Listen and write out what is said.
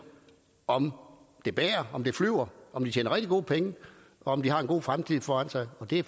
om det bærer om det flyver om de tjener rigtig gode penge og om de har en god fremtid foran sig og det